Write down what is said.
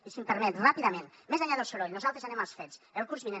i si em permet ràpidament més enllà del soroll nosaltres anem als fets el curs vinent